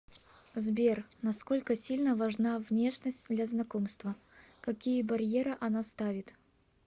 сбер насколько сильно важна внешность для знакомства какие барьеры она ставит